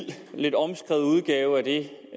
lidt omskrevet udgave det